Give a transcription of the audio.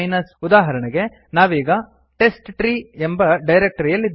ಉದಾಹರಣೆಗೆ ನಾವೀಗ ಟೆಸ್ಟ್ಟ್ರೀ ಎಂಬ ಡೈರಕ್ಟರಿಯಲ್ಲಿದ್ದೇವೆ